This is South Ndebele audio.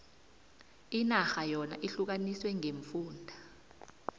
inarha yona ihlukaniswe ngeemfunda